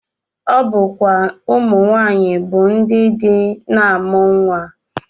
Ọ bụkwa ụmụnwaanyị bụ ndị ndị na-amụ nnwa